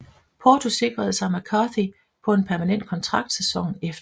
Porto sikrede sig McCarthy på en permanent kontrakt sæsonen efter